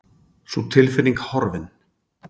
Sú tilfinning horfin.